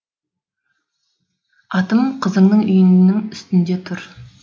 атым қызыңның үйінің үстінде тұр